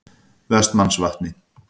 Vestmannsvatni